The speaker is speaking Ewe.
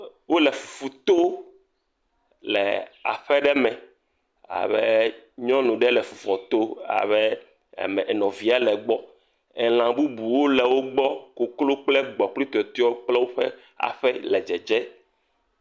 Wole fufu too le aƒe ɖe me ale be nyɔnu ɖe le fufua to abe nɔ nɔvia le gbɔ. Elã bubuwo le wo gbɔ, koklo kple gbɔ̃ kple tɔtɔewo kple woƒe aƒe dzedzee.